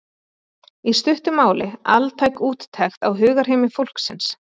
í stuttu máli altæk úttekt á hugarheimi fólksins.